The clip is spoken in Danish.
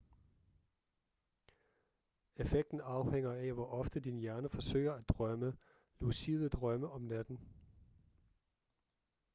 effekten afhænger af hvor ofte din hjerne forsøger at drømme lucide drømme om natten